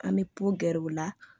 An bɛ pogɛr'o la